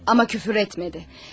Amma küfür etmədi.